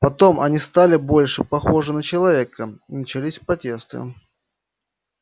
потом они стали больше похожи на человека и начались протесты